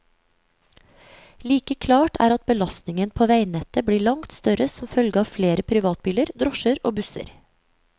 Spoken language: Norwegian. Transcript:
Like klart er at belastningen på veinettet blir langt større som følge av flere privatbiler, drosjer og busser.